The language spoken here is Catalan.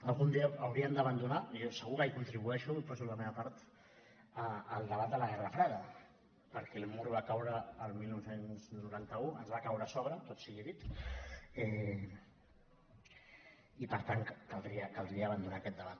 algun dia hauríem d’abandonar i jo segur que hi contribueixo hi poso la meva part el debat de la guerra freda perquè el mur va caure el dinou noranta u ens va caure a sobre tot sigui dit i per tant caldria abandonar aquest debat